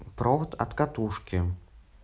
провод от катушки